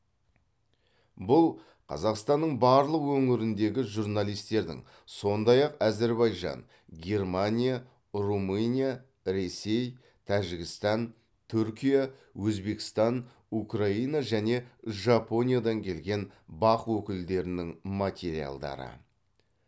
бұл қазақстанның барлық өңіріндегі журналистердің сондай ақ әзербайжан германия румыния ресей тәжікстан түркия өзбекстан украина және жапониядан келген бақ өкілдерінің материалдары